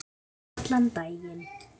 Allan daginn.